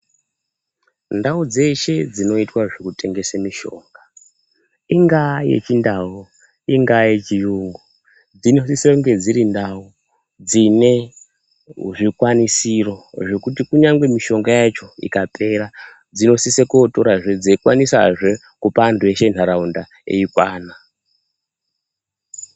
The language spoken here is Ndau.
Ndau dzeshe dzinoitwa zvekutengese mishonga ingaa yechindau, ingaa yechiyungu dzinosise kunge dziri ndau, dzine zvikwanisiro zvekuti kunyangwe mishonga yacho ikapera dzinosise kotorazve dzeikwanisazve kupa antu eshe entaraunda eikwana.